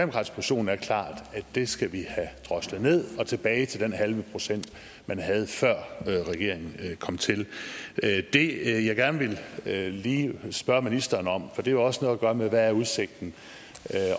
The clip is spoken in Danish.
position er klart at det skal vi have droslet ned og tilbage til den halve procent man havde før regeringen kom til det jeg gerne lige vil spørge ministeren om for det har også noget at gøre med hvad udsigten